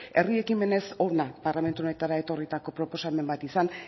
herri ekimenez hona parlamentu honetara etorritako proposamen bat izan